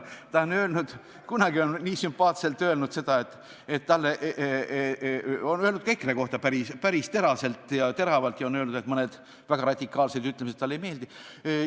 Ta on öelnud ka EKRE kohta päris teraselt ja teravalt ja ta on öelnud, et mõned väga radikaalsed ütlemised talle ei meeldi.